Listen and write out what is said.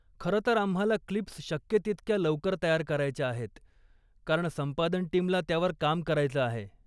खरंतर आम्हाला क्लिप्स शक्य तितक्या लवकर तयार करायच्या आहेत कारण संपादन टीमला त्यावर काम करायचं आहे.